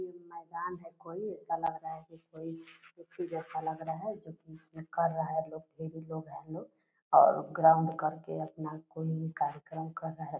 मैदान है कोई ऐसा लग रहा है की कोई उसी जैसा लग रहा है जो की इसमें कर रहा है लोग ढेरी लोग है लोग और ग्राउंड करके अपना कोई कार्यक्रम कर रहा है।